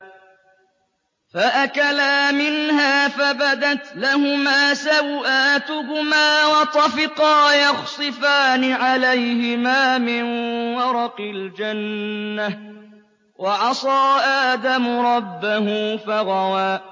فَأَكَلَا مِنْهَا فَبَدَتْ لَهُمَا سَوْآتُهُمَا وَطَفِقَا يَخْصِفَانِ عَلَيْهِمَا مِن وَرَقِ الْجَنَّةِ ۚ وَعَصَىٰ آدَمُ رَبَّهُ فَغَوَىٰ